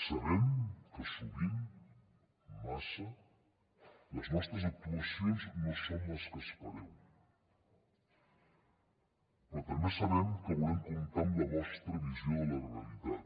sabem que sovint massa les nostres actuacions no són les que espereu però també sabem que volem comptar amb la vostra visió de la realitat